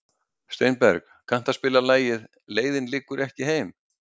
Steinberg, kanntu að spila lagið „Leiðin liggur ekki heim“?